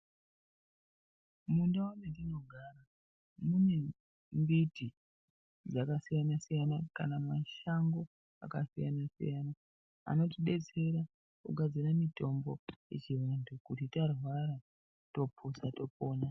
Mundau metinogara mune mbiti dzakasiyana siyana kana mashango akasiyanasiyana anotidetsera kugadzire mitombo yechiantu kuti tarwara topuza topona.